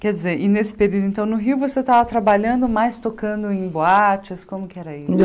Quer dizer, e nesse período, então, no Rio você estava trabalhando, mas tocando em boates, como é que era isso?